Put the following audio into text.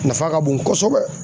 Nafa ka bon kosɛbɛ